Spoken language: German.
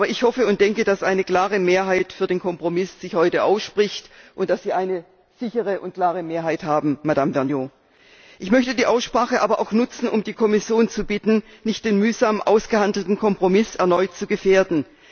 Aber ich hoffe und denke, dass sich heute eine klare Mehrheit für den Kompromiss ausspricht und dass Sie eine sichere und klare Mehrheit haben, Madame Vergnaud. Ich möchte die Aussprache aber auch nutzen, um die Kommission zu bitten, nicht den mühsam ausgehandelten Kompromiss erneut zu gefährden.